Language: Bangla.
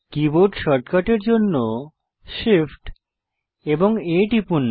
কীবোর্ড শর্টকাটের জন্য Shift এবং A টিপুন